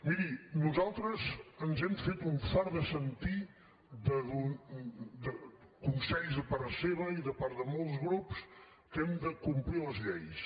miri nosaltres ens hem fet un fart de sentir consells de part seva i de part de molts grups que hem de complir les lleis